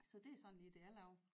Så det er sådan lige det jeg laver